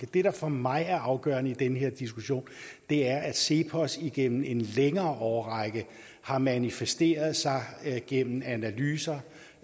det der for mig er det afgørende i den her diskussion er at cepos igennem en længere årrække har manifesteret sig gennem analyser